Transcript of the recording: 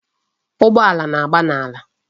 Ụgbọala na-agba n'ala.